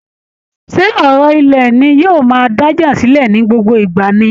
Ṣé ọ̀rọ̀ ilẹ̀ ni yóò máa dájà sílẹ̀ ní gbogbo ìgbà ni?